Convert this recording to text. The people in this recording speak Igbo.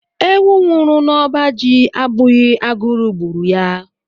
Ewu nwụrụ n'ọba ji abụghị agụrụ gburu ya.